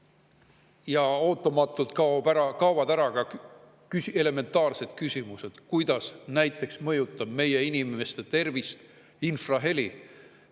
Ja ootamatult kaovad ära ka elementaarsed küsimused: näiteks, kuidas mõjutab meie inimeste tervist infraheli?